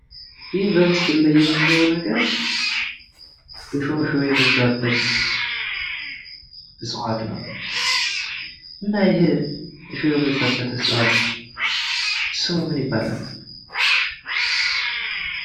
ይህ በምስሉ ላይ የምናየው ነገር እሾህ እሾህ የበዛበት ዕፅዋት ነው። እና ይሄ እሾህ የበዛበት ዕጽዋት ስሙ ምን ይባላል?